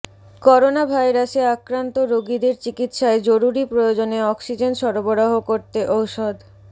করোনাভাইরাসে আক্রান্ত রোগীদের চিকিৎসায় জরুরী প্রয়োজনে অক্সিজেন সরবরাহ করতে ঔষধ